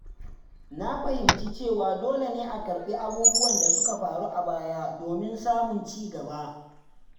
Na fahimci cewa dole ne a karɓi abubuwan da suka faru a baya domin samun ci gaba.